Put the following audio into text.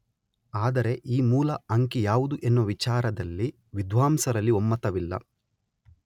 ಆದರೆ ಈ ಮೂಲ ಅಂಕಿ ಯಾವುದು ಎನ್ನುವ ವಿಚಾರದಲ್ಲಿ ವಿದ್ವಾಂಸರಲ್ಲಿ ಒಮ್ಮತವಿಲ್ಲ.